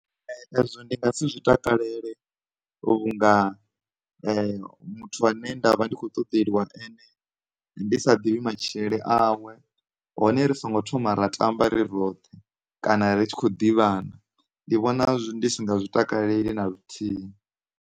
Ezwo ndi nga si zwi takalele vhunga muthu ane ndavha ndi kho ṱoḓeliwa ene ndi sa ḓivhi matshilele awe hone ri songo thoma ra tamba ri roṱhe kana ri tshi kho ḓivhana ndi vhona ndi si nga zwi takaleli na luthihi.